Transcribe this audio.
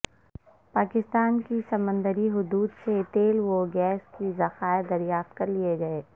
پاکستان کی سمندری حدود سے تیل و گیس کے ذخائر دریافت کرلیے گئے